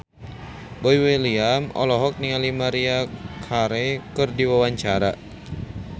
Boy William olohok ningali Maria Carey keur diwawancara